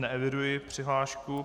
Neeviduji přihlášku.